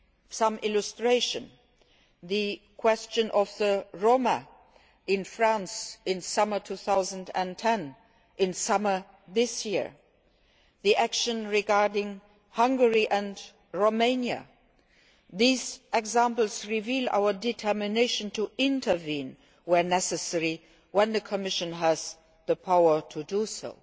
Some examples the question of the Roma in France in the summer of 2010 and in the summer of this year, and the actions regarding Hungary and Romania. These examples reveal our determination to intervene, where necessary, when the Commission has the power to do